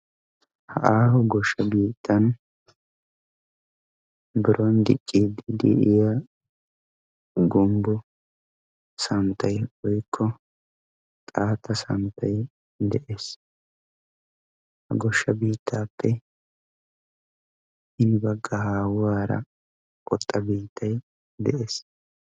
Aaho gooshaa biittan biron dicciidi de'iya gumbbo santtay woykko xaata santtay de'ees. Goshsha biittaappe hini bagga haahuwaara oxxa biittay de'ees.